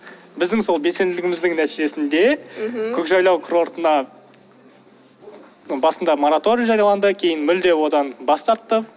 біздің сол белсенділігіміздің нәтижесінде мхм көкжайлау курортына басында мораторий жарияланды кейін мүлде одан бас тартты